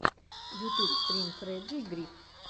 ютьюб стрим фрэджей гриф